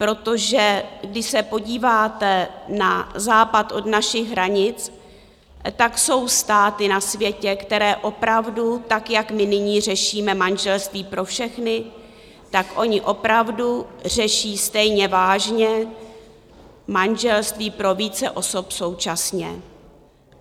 Protože když se podíváte na západ od našich hranic, tak jsou státy na světě, které opravdu tak, jak my nyní řešíme manželství pro všechny, tak oni opravdu řeší stejně vážně manželství pro více osob současně.